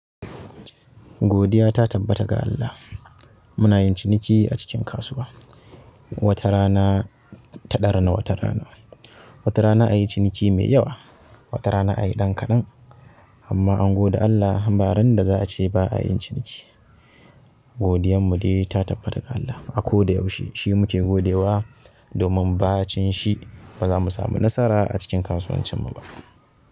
Godiya ta tabbata ga Allah. Muna yin ciniki a cikin kasuwa. Wata rana ta ɗarana wata rana. Wata rana a yi ciniki mai yawa, wata rana a yi ɗan kaɗan. Amma an gode Allah, baran da za a ce ba a yin ciniki. Godiyar mu dai ta tabbata ga Allah. A ko da yaushe shi muke godewa domin ba cin shi ba za mu samu nasara a cikin kasuwancin mu ba.